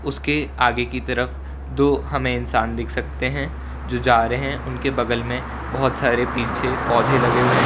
उसके आगे की तरफ दो हमें इंसान दिख सकते हैं जो जा रहे हैं उनके बगल में बहोत सारे पीछे पौधे लगे हुए हैं।